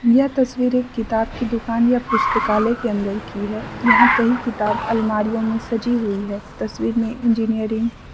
यह तस्वीर एक किताब की दुकान या पुस्तकालय के अंदर की है यहां कई किताब अलमारियों में सजी हुई है तस्वीर में इंजीनियरिंग --